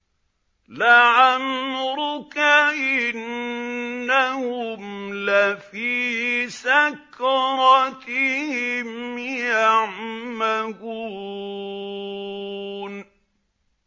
لَعَمْرُكَ إِنَّهُمْ لَفِي سَكْرَتِهِمْ يَعْمَهُونَ